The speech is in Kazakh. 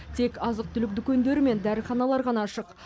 тек азық түлік дүкендері мен дәріханалар ғана ашық